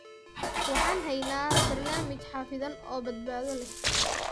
Waxaan haynaa barnaamij xafidan oo badbaado leh.